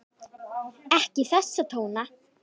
Ekki þessa tóna!